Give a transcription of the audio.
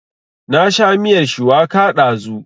Na sha miyar shuwaka ɗazu